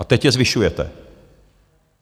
A teď je zvyšujete.